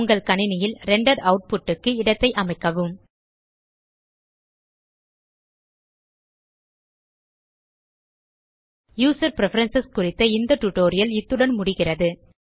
உங்கள் கணினியில் render output க்கு இடத்தை அமைக்கவும் யூசர் பிரெஃபரன்ஸ் குறித்த இந்த டியூட்டோரியல் இத்துடன் முடிகிறது